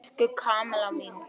Elsku Kamilla mín!